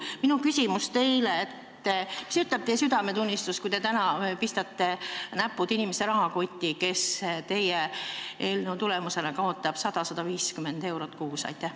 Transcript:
Minu küsimus teile: mida ütleb teie südametunnistus, kui te pistate näpud inimeste rahakotti ja mõni kaotab teie eelnõu tõttu 100 või 150 eurot kuus?